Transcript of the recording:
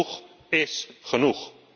Genoeg is genoeg.